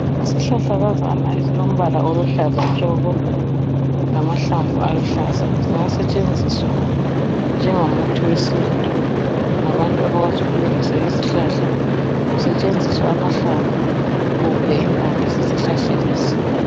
Isihahlakazana esilombala oluhlaza tshoko lamahlamvu aluhlaza kungasetshenziswa njengomuthi wesintu ngabantu abakwazi ukulungisa izihlahla kusetshenziswa amahlamvu kumbe impande zesihlahla lesi.